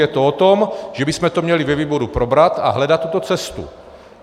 Je to o tom, že bychom to měli ve výboru probrat a hledat tuto cestu.